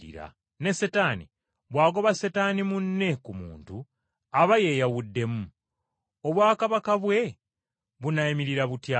Ne Setaani bw’agoba Setaani munne ku muntu aba yeyawuddemu. Obwakabaka bwe bunaayimirira butya?